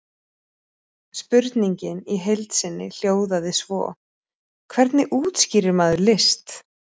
Spurningin í heild sinni hljóðaði svo: Hvernig útskýrir maður list?